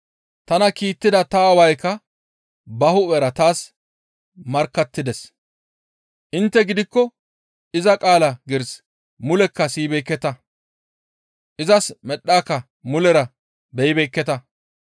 Tana kiittida ta Aawaykka ba hu7era taas markkattides. Intte gidikko iza qaala giiris mulekka siyibeekketa; izas medhaakka mulera beyibeekketa.